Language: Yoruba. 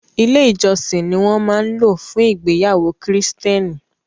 Ilé ìjọsìn ni wọ́n máa ń lò fún ìgbéyàwó kìrìsìtẹ́nì